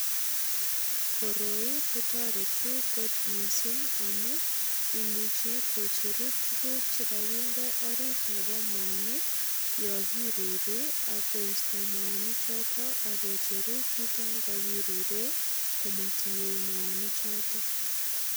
Koroi ko toretu kot mising amu imuchi kocheru tuguk che kaginde orit nebo mwanik yo kiruri ak koisto mwanichoto ak kocheru kito ne kagirure komatinye mwanichoto.